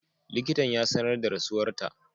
Likitan ya sanar da rasuwarta.